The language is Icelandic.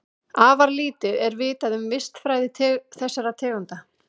Afar lítið er vitað um vistfræði þessara tegunda.